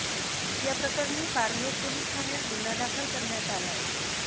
या प्रकरणी पारनेर पोलीस ठाण्यात गुन्हा दाखल करण्यात आलाय